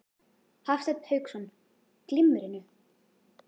Hafsteinn Hauksson: Glimmerinu?